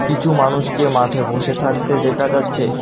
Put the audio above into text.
কিছু মানুষকে মাঠে বসে থাকতে দেখা যাচ্ছে।